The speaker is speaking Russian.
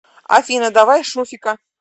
афина давай шуфика